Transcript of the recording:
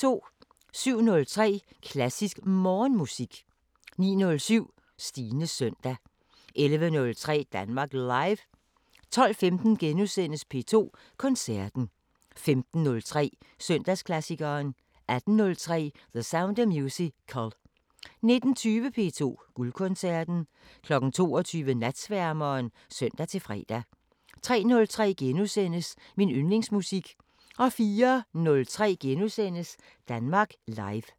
07:03: Klassisk Morgenmusik 09:07: Stines søndag 11:03: Danmark Live 12:15: P2 Koncerten * 15:03: Søndagsklassikeren 18:03: The Sound of Musical 19:20: P2 Guldkoncerten 22:00: Natsværmeren (søn-fre) 03:03: Min yndlingsmusik * 04:03: Danmark Live *